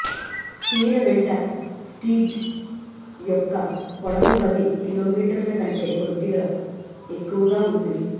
తీర వెంట స్ట్రీట్ యొక్క పొడవు పది కిలోమీటర్ల కంటే కొద్దిగా ఎక్కువగా ఉంది